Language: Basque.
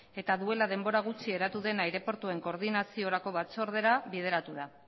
eta duela denbora gutxi eratu den aireportuen koordinaziorako batzordera bideratu da